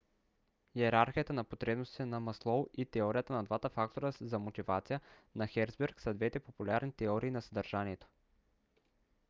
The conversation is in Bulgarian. йерархията на потребностите на маслоу и теорията на двата фактора за мотивация на херцберг са двете популярни теории на съдържанието